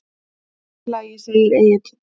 Allt í lagi, segir Egill.